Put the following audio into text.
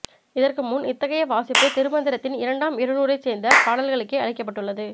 இதற்குமுன் இத்தகைய வாசிப்பு திருமந்திரத்தின் இரண்டாம் இருநூறைச் சேர்ந்த பாடல்களுக்கே அளிக்கப்பட்டுள்ளது